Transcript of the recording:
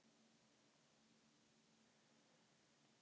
Ég var tíu til tólf ára.